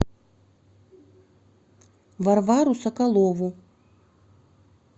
варвару соколову